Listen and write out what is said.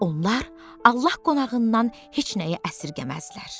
Onlar Allah qonağından heç nəyi əsərgəməzlər.